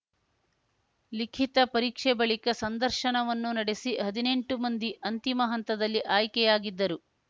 ಲಿಖಿತ ಪರೀಕ್ಷೆ ಬಳಿಕ ಸಂದರ್ಶನವನ್ನೂ ನಡೆಸಿ ಹದಿನೆಂಟು ಮಂದಿ ಅಂತಿಮ ಹಂತದಲ್ಲಿ ಆಯ್ಕೆಯಾಗಿದ್ದರು